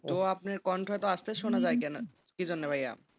তো আপনি কণ্ঠ আস্তে শোনা যাই কি জন্য ভাইয়া?